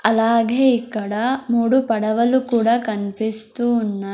అలాగే ఇక్కడ మూడు పడవలు కూడా కన్పిస్తువున్న--